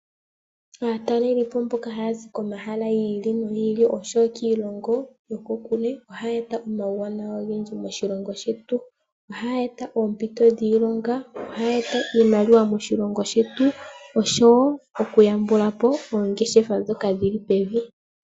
Aatalelipo mboka haya zi komahala gi ili nogi ili osho wo kiilongo yokokule ohaya eta omauwanawa ogendji moshilongo shetu. Ohaya eta oompito dhiilonga. Ohaya eta iimaliwa moshilongo shetu osho wo okuyambula po oongeshefa ndhoka dhili pevi.